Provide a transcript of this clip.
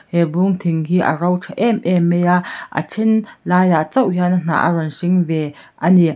he bung thing hi a ro tha em em mai a a then laiah chauh hian a hnah a rawn hring ve a ni.